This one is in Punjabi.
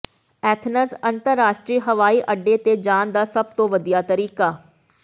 ਐਥਨਜ਼ ਅੰਤਰਰਾਸ਼ਟਰੀ ਹਵਾਈ ਅੱਡੇ ਤੇ ਜਾਣ ਦਾ ਸਭ ਤੋਂ ਵਧੀਆ ਤਰੀਕਾ